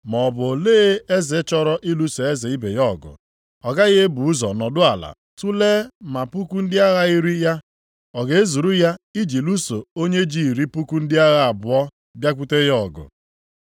“Maọbụ olee eze chọrọ ịlụso eze ibe ya ọgụ, ọ gaghị ebu ụzọ nọdụ ala tulee ma puku ndị agha iri ya ọ ga-ezuru ya iji lụso onye ji iri puku ndị agha abụọ abịakwute ya ọgụ?